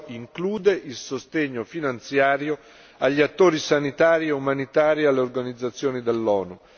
Ciò include il sostegno finanziario agli attori sanitari e umanitari e alle organizzazioni dell'ONU.